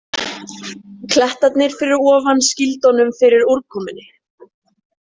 Klettarnir fyrir ofan skýldu honum fyrir úrkomunni.